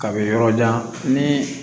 Ka bɛ yɔrɔ jan ni